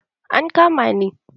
An kama ni.